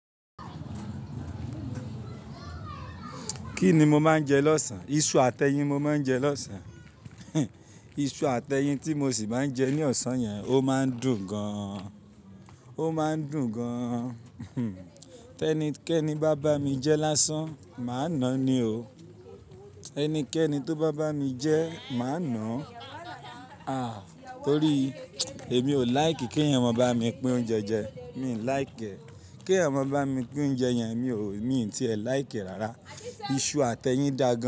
Kí ni mo máa ń jẹ lọ́sàn-án? Iṣu àti ẹyin mo máa ń jẹ lọ́sàn-án. Iṣu àti ẹyin tí mo sì máa ń jẹ ní ọ̀sán yẹn, ó máa ń dùn gan. Ó máa ń dùn gan. Tẹ́ni kẹ́ni bá bá mi jẹ lásán, màá nàá ni o. Ẹnikẹ́ni tó bá bá mi jẹ, màá nàá. Ah! Torí èmi ò like kí ẹ̀eyan mọ̀n bá mi pín oúnjẹ jẹ. Mi ò like. Kí ẹ̀eyan mọ̀n bá mi pín oúnjẹ yẹn mi ò, mi ò tí ì like rárá. Iṣu àti ẹyin daà gan.